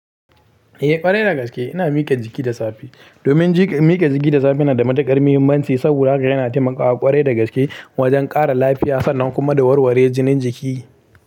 Eh ƙwarai dagaske ina mika jiki da safe. Domin mike jiki da safe na da matukar mahimman ci saboda zakaga yana taimakawa kwarai da haske da kuma mikewan jiki.